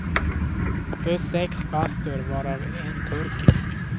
Plus sex bastur, varav en turkisk.